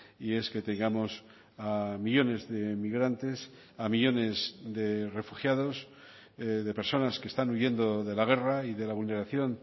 y es que tengamos a millónes de migrantes a millónes de refugiados de personas que están huyendo de la guerra y de la vulneración